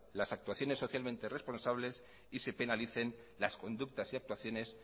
las actuaciones socialmente responsables y se penalicen las conductas y actuaciones